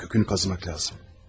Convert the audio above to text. Kökünü qazımaq lazımdır.